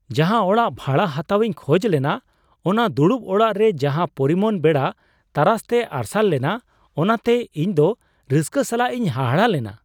ᱡᱟᱦᱟᱸ ᱚᱲᱟᱜ ᱵᱷᱟᱲᱟ ᱦᱟᱛᱟᱣ ᱤᱧ ᱠᱷᱚᱡᱽ ᱞᱮᱱᱟ ᱚᱱᱟ ᱫᱩᱲᱩᱵ ᱚᱲᱟᱜ ᱨᱮ ᱡᱟᱦᱟᱸ ᱯᱚᱨᱤᱢᱟᱱ ᱵᱮᱲᱟ ᱛᱟᱨᱟᱥᱛᱮ ᱟᱨᱥᱟᱞ ᱞᱮᱱᱟ ᱚᱱᱟᱛᱮ ᱤᱧ ᱫᱚ ᱨᱟᱹᱥᱠᱟᱹ ᱥᱟᱞᱟᱜ ᱤᱧ ᱦᱟᱦᱟᱲᱟᱜ ᱞᱮᱱᱟ ᱾